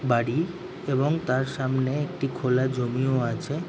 বাড়ি এবং তার সামনে একটি খোলা জমি ও আছে।